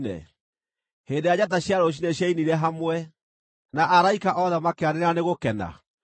hĩndĩ ĩrĩa njata cia rũciinĩ ciainire hamwe, na araika othe makĩanĩrĩra nĩ gũkena?